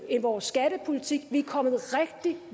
vores skattepolitik vi er kommet rigtig